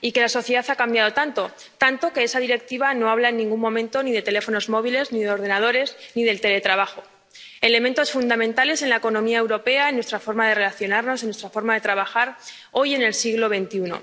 Pero la sociedad ha cambiado tanto, que esa Directiva no habla en ningún momento ni de teléfonos móviles, ni de ordenadores, ni del teletrabajo, elementos fundamentales en la economía europea, en nuestra forma de relacionarnos, en nuestra forma de trabajar hoy en el siglo XXI.